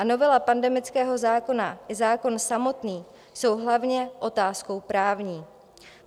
A novela pandemického zákona i zákon samotný jsou hlavně otázkou právní.